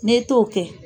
N'e t'o kɛ